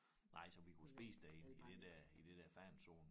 Nej så vi kunne spise derinde i det der i det der fanzone